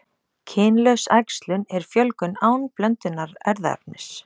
Kynlaus æxlun er fjölgun án blöndunar erfðaefnis.